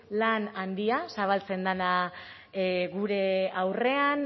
lan handia zabaltzen dela gure aurrean